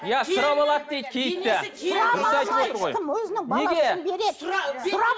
иә сұрап алады дейді киітті сұрап алмайды ешкім өзінің баласын береді